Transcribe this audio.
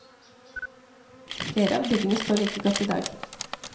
Flere av byggene står like godt i dag.